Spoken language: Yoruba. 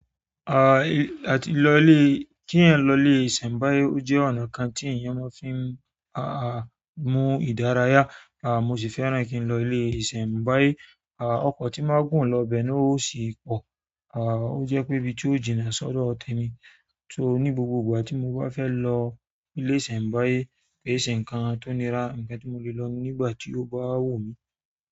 À, àti lọ ilé kí ẹ̀ lọ ilé ìsẹ̀mbáyé o jẹ́ ọ̀nà kan tí ènìyàn máa ń fi, àh, mú ìdárayá, à, mo sì fẹ́ràn kí n lọ ilé ìsẹ̀mbáyé. À, ọkọ̀ tí máa gùn lọ bẹ náà o sì pọ, à, o jẹ́ pé ibi tí ó jìnnà sọ́dọ̀ temi. So ní gbogbo ìgbà tí mo bá fẹ́ lọ ilé ìsẹ̀mbáyé, ke e se nnkán tó nira, ǹnkan tí mo lè lọ nígbà tí ó bá wù mí.